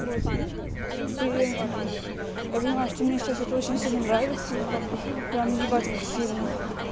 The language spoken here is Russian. вот и я понимаю что ты мне сейчас это очень сильно нравится прям ебать как сильно